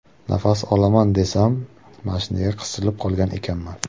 Nafas olaman desam, mashinaga qisilib qolgan ekanman.